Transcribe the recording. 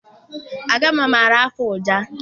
Agama maara afụ ọja.